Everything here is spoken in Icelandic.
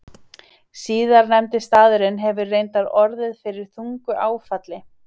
Síðastnefndi staðurinn hefur reyndar orðið fyrir þungu áfalli.